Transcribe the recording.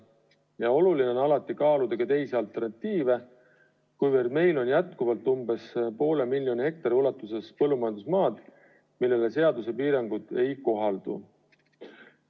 Ja oluline on alati kaaluda alternatiive, kuna meil on umbes poole miljoni hektari ulatuses põllumajandusmaad, millele seaduse piirangud ei kohaldu.